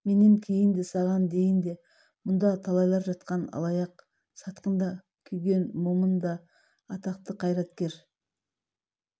менен кейін де саған дейін де мұнда талайлар жатқан алаяқ сатқын да күйген момын да атақты қайраткер